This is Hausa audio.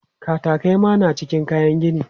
Katakai ma na cikin kayan gini.